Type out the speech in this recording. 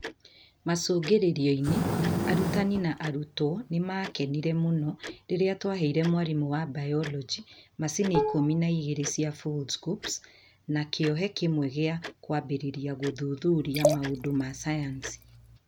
Macũngĩrĩro-inĩ, arutani na arutwo nĩ maakenire mũno rĩrĩa twaheire mwarimũ wa Biology macini ikũmi na igĩrĩ cia Foldscopes na kĩohe kĩmwe gĩa kwambĩrĩria gũthuthuria maũndũ ma sayansi.